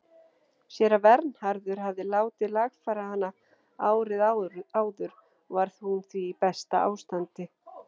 Séra Vernharður hafði látið lagfæra hana árið áður og var hún því í besta ástandi.